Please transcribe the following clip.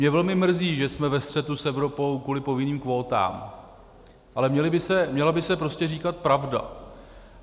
Mě velmi mrzí, že jsme ve střetu s Evropou kvůli povinným kvótám, ale měla by se prostě říkat pravda.